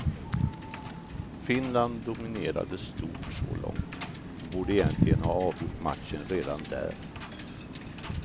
Finland dominerade stort så långt och borde egentligen ha avgjort matchen redan där.